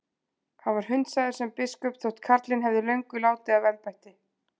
Hann var hundsaður sem biskup þótt karlinn hefði löngu látið af embætti.